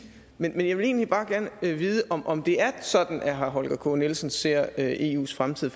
men jeg vil egentlig bare gerne vide om om det er sådan herre holger k nielsen ser eus fremtid